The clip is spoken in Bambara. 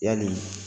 Yali